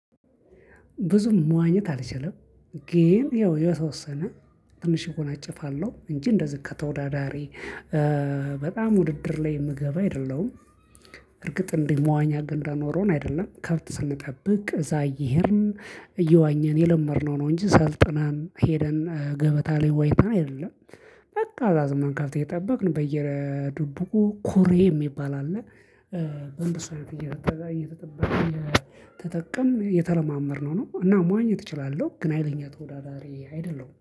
ብዙም መዋኘት አልችልም። ግን ያው የተወሰነ ትንሽ እወናጨፋለሁ እንጂ እንደዚህ ከተወዳዳሪ በጣም ውድድር ላይ የምገባ አይደለሁም። እርግጥ እንዲህ መዋኛ ገንዳ ኖሮን አይደለም ከብት ስንጠብቅ እዛ እየሄድን እየዋኘን የለመድነው ነው እንጂ ሰልጥነን ሄደን ገበታ ላይ ዋኝተን አይደለም። በቃ አዛ ዝም ብለን ከብት እየጠበቅን በየድብቁ ኩሬ የሚባል አለ። በእንደሱ እየተጠቀምን የተለማመድነው ነው እና መዋኘት እችላለሁ ግን ኅይለኛ ተወዳዳሪ አይደለሁም